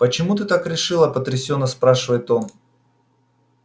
почему ты так решила потрясённо спрашивает он